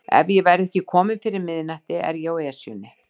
Ef ég verð ekki kominn fyrir miðnætti er ég á Esjunni